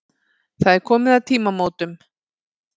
Það er komið að tímamótunum.